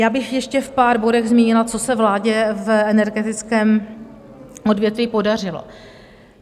Já bych ještě v pár bodech zmínila, co se vládě v energetickém odvětví podařilo.